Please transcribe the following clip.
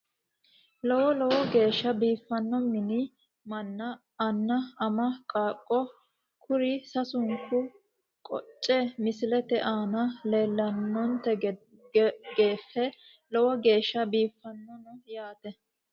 Lowo lowo geesha biifano mini mana anna ama qaaqo kuri sasunkuni goce misilete aana leelanonteni gefe lowo geesha biifanono yaate.